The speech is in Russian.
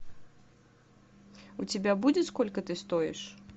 у тебя будет сколько ты стоишь